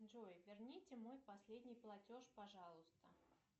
джой верните мой последний платеж пожалуйста